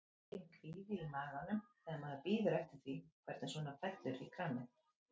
Enginn kvíði í maganum þegar maður bíður eftir því hvernig svona fellur í kramið?